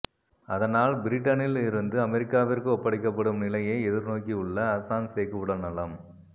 அதனால் பிரிட்டனில் இருந்து அமெரிக்காவிற்கு ஒப்படைக்கப்படும் நிலையை எதிர்நோக்கியுள்ள அசாஞ்சேக்கு உடல்நலம்